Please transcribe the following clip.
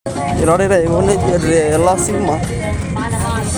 Irorita aikoneja telasima